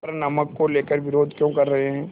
पर नमक को लेकर विरोध क्यों कर रहे हैं